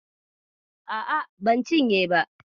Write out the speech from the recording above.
A'a, ban cinye ba.